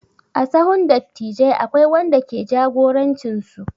A sahun dattijai akwai wanda ke jagorancin su.